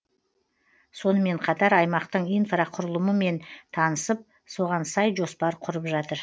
сонымен қатар аймақтың инфрақұрылымымен танысып соған сай жоспар құрып жатыр